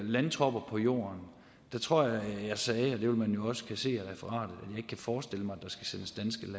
landtropper på jorden tror jeg at jeg sagde og det vil man jo også kunne se af referatet at ikke kan forestille mig